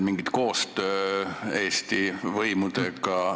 Ma ei tea, kuidas seda küsida – arreteerimine on natukene liiga raske asi.